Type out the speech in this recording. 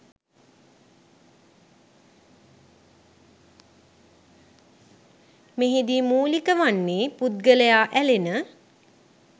මෙහිදී මූලික වන්නේ පුද්ගලයා ඇලෙන